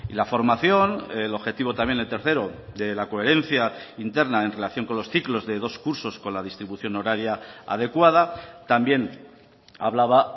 la formación el objetivo también el tercero de la coherencia interna en relación con los ciclos de dos cursos con la distribución horaria adecuada también hablaba